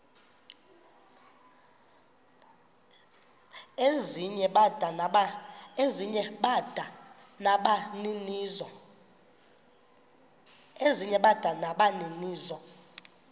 ezinye bada nabaninizo